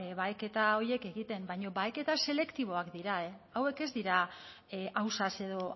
baheketa horiek egiten baina baheketak selektiboak dira hauek ez dira ausaz edo